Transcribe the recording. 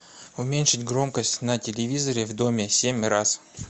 уменьшить громкость на телевизоре в доме семь раз